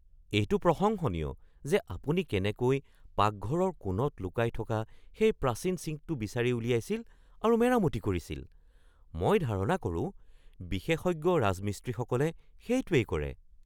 এইটো প্ৰশংসনীয় যে আপুনি কেনেকৈ পাকঘৰৰ কোণত লুকাই থকা সেই প্ৰাচীন চিংকটো বিচাৰি উলিয়াইছিল আৰু মেৰামতি কৰিছিল। মই ধাৰণা কৰো বিশেষজ্ঞ ৰাজমিস্ত্ৰীসকলে সেইটোৱেই কৰে।